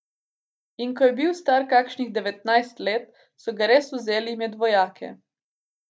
In ko je bil star kakšnih devetnajst let, so ga res vzeli med vojake.